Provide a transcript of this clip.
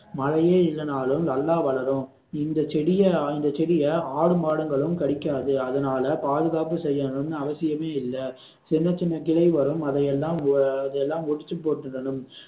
மழையே இல்லனாலும் நல்லா வளரும் இந்த செடிய இந்த செடிய ஆடு மாடுகளும் கடிக்காது அதனால பாதுகாப்பு செய்யனும்னு அவசியமே இல்லை சின்ன சின்ன கிளை வரும் அதையெல்லாம் அதையெல்லாம் ஒடிச்சு போட்டுடணும்